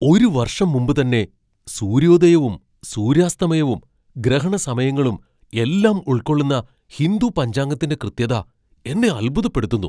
ഒരു വർഷം മുമ്പ് തന്നെ സൂര്യോദയവും ,സൂര്യാസ്തമയവും, ഗ്രഹണ സമയങ്ങളും എല്ലാം ഉൾക്കൊള്ളുന്ന ഹിന്ദു പഞ്ചാംഗത്തിന്റെ കൃത്യത എന്നെ അത്ഭുതപ്പെടുത്തുന്നു.